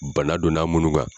Bana donna a minnu kan.